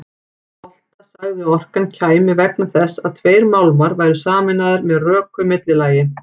Volta sagði að orkan kæmi vegna þess að tveir málmar væru sameinaðir með röku millilagi.